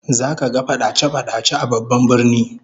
Zaka ga fadace-fadace a babban birnin